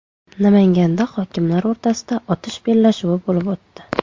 Namanganda hokimlar o‘rtasida otish bellashuvi bo‘lib o‘tdi.